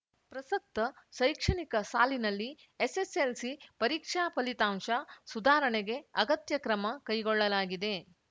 ಪ್ರಸಕ್ತ ಶೈಕ್ಷಣಿಕ ಸಾಲಿನಲ್ಲಿ ಎಸ್‌ಎಸ್‌ಎಲ್‌ಸಿ ಪರೀಕ್ಷಾ ಫಲಿತಾಂಶ ಸುಧಾರಣೆಗೆ ಅಗತ್ಯ ಕ್ರಮ ಕೈಗೊಳ್ಳಲಾಗಿದೆ